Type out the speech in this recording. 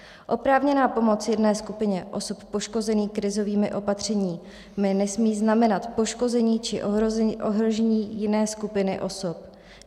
Oprávněná pomoc jedné skupině osob poškozených krizovými opatřeními nesmí znamenat poškození či ohrožení jiné skupiny osob.